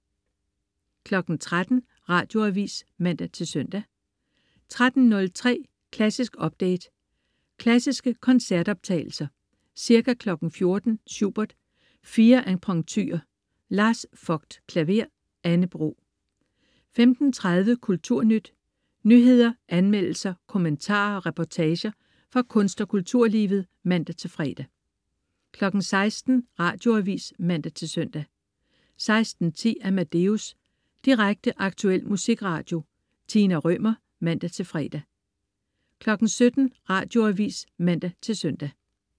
13.00 Radioavis (man-søn) 13.03 Klassisk update. Klassiske koncertoptagelser. Ca. 14.00 Schubert: Fire impromptuer. Lars Vogt, klaver. Anne Bro 15.30 Kulturnyt. Nyheder, anmeldelser, kommentarer og reportager fra kunst- og kulturlivet (man-fre) 16.00 Radioavis (man-søn) 16.10 Amadeus. Direkte, aktuel musikradio. Tina Rømer (man-fre) 17.00 Radioavis (man-søn)